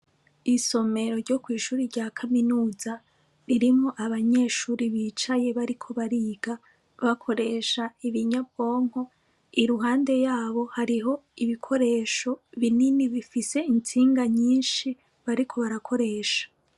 isomero ryo kwi'shure rya kaminuza ririmwo abanyeshuri bicaye bariko bariga bakoresha ibinyabwonko iruhande yabo hariho ibikoresho binini bifise intsinga nyinshi bariko barakoresha.